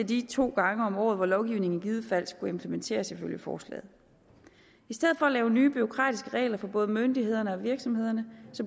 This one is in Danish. de to gange om året hvor lovgivningen i givet fald skulle implementeres ifølge forslaget i stedet for at lave nye bureaukratiske regler for både myndighederne og virksomhederne